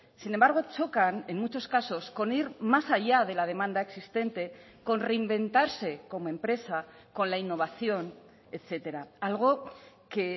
sin embargo chocan en muchos casos con ir más allá de la demanda existente con reinventarse como empresa con la innovación etcétera algo que